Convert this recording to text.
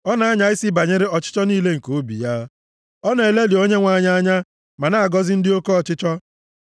Ọ na-anya isi banyere ọchịchọ niile nke obi ya, ọ na-elelị Onyenwe anyị anya ma na-agọzi ndị oke ọchịchọ.